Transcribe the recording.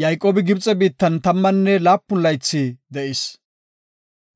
Yayqoobi Gibxe biittan tammanne laapun laythi de7is.